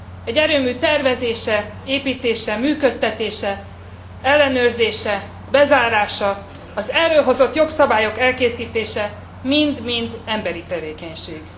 Egy erőmű tervezése, építése, működtetése, ellenőrzése, bezárása, az erről hozott jogszabályok elkészítése mind mind emberi tevékenység.